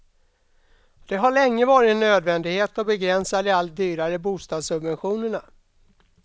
Det har länge varit en nödvändighet att begränsa de allt dyrare bostadssubventionerna.